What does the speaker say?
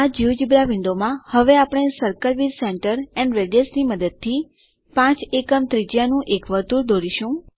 આ જિયોજેબ્રા વિન્ડોમાં હવે આપણે circle with centre and radius ની મદદથી 5 એકમ ત્રિજ્યાનું એક વર્તુળ દોરીશું